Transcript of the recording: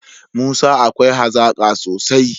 Musa akwai hazaka sosai